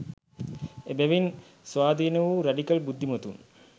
එබැවින් ස්වාධීන වූ රැඩිකල් බුද්ධිමතුන්